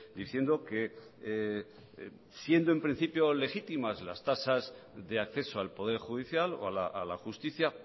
diciendo que siendo en principio legítimas las tasas de acceso al poder judicial o a la justicia